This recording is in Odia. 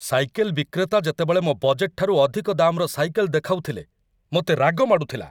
ସାଇକେଲ ବିକ୍ରେତା ଯେତେବେଳେ ମୋ ବଜେଟ୍‌‌‌ଠାରୁ ଅଧିକ ଦାମ୍‌ରସାଇକେଲ ଦେଖାଉଥିଲେ, ମୋତେ ରାଗ ମାଡ଼ୁଥିଲା।